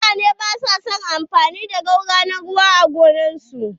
Mutane ba su yawan amfani da garwa na ruwa a gonar su.